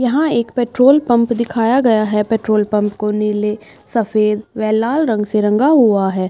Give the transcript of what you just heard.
यहाँ एक petrol pump दिखाया गया है। पेट्रोल पंप को नीले सफेद व लाल रंग से रंगा हुआ है।